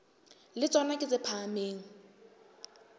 le tsona ke tse phahameng